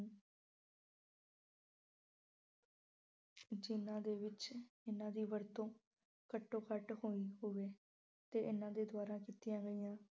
ਜਿਹਨਾਂ ਦੇ ਵਿੱਚ ਇਹਨਾਂ ਦੀ ਵਰਤੋਂ ਘੱਟੋ-ਘੱਟ ਹੁੰਦੀ ਹੋਵੇ ਤੇ ਇਹਨਾਂ ਦੇ ਦੁਆਰਾ ਕੀਤੀਆਂ ਗਈਆਂ